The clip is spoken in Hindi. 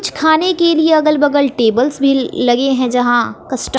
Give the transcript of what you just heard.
कुछ खाने के लिए अगल बगल टेबल्स भी लगे हैं जहां कष्ट--